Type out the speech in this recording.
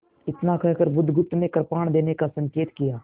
इतना कहकर बुधगुप्त ने कृपाण देने का संकेत किया